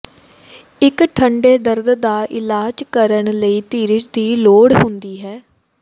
ਇੱਕ ਠੰਢੇ ਦਰਦ ਦਾ ਇਲਾਜ ਕਰਨ ਲਈ ਧੀਰਜ ਦੀ ਲੋੜ ਹੁੰਦੀ ਹੈ